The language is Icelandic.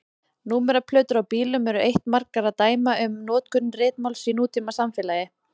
Númeraplötur á bílum eru eitt margra dæma um notkun ritmáls í nútímasamfélagi.